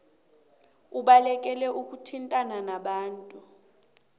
ubalekele ukuthintana nabantu